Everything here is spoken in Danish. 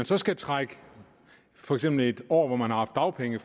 så skal trækkes for eksempel et år fra hvor man har haft dagpenge